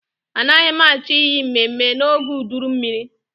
Anaghị m achọ iyi mmemme n'oge uduru mmiri.